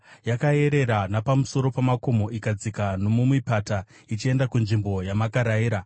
yakayerera napamusoro pamakomo, ikadzika nomumipata, ichienda kunzvimbo yamakairayira.